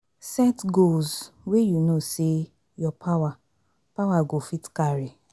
Set goals wey you know sey your power power go fit carry